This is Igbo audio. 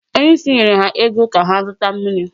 Onye isi nyere ha ego ka ha zụta mmiri.